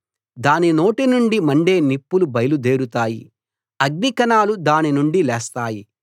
దాని నోటి నుండి మండే నిప్పులు బయలుదేరుతాయి అగ్ని కణాలు దాని నుండి లేస్తాయి